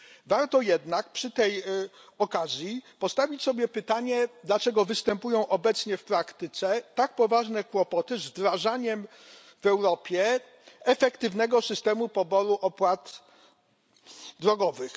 Warto jednak przy tej okazji postawić sobie pytanie, dlaczego występują obecnie w praktyce tak poważne kłopoty z wdrażaniem w Europie efektywnego systemu poboru opłat drogowych.